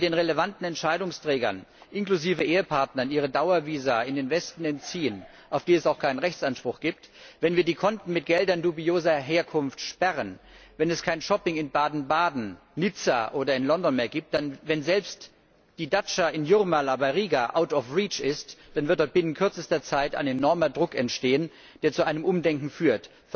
Wenn wir den relevanten Entscheidungsträgern inklusive Ehepartnern ihre Dauervisa in den Westen entziehen, auf die es auch keinen Rechtsanspruch gibt, wenn wir die Konten mit Geldern dubioser Herkunft sperren, wenn es kein Shopping in Baden Baden, Nizza oder in London mehr gibt, wenn selbst die Datscha in Jūrmala bei Riga out of reach ist, dann wird da binnen kürzester Zeit ein enormer Druck entstehen, der zu einem Umdenken führt.